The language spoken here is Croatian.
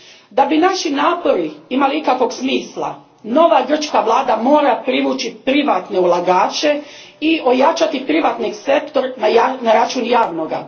Da bi naši napori imali ikakvog smisla, nova grčka vlada mora privući privatne ulagače i ojačati privatni sektor na račun javnoga.